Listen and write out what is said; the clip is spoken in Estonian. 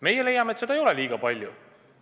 Meie leiame, et seda ei ole liiga palju.